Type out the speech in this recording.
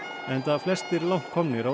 enda flestir langt komnir á